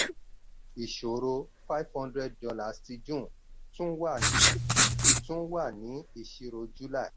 ìṣòro: $500 ti june tún wà ní tún wà ní ìṣirò july.